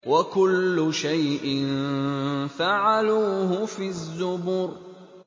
وَكُلُّ شَيْءٍ فَعَلُوهُ فِي الزُّبُرِ